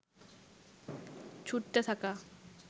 ছুটতে থাকা